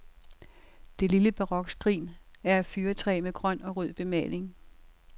Det lille barokskrin er af fyrretræ med grøn og rød bemaling.